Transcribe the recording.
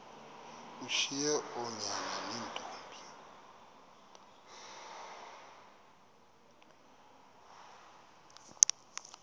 ushiye oonyana neentombi